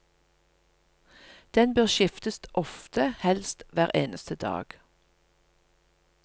Den bør skiftes ofte, helst hver eneste dag.